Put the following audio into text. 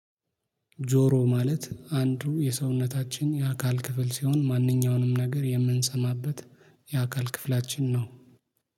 ጆሮ ማለት አንዱ የሰውነታችን የአካል ክፍል ሲሆን ማንኛውንም ነገር የምንሰማበት የአካል ክፍላችን ነው።